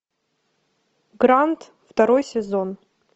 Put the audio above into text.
гранд второй сезон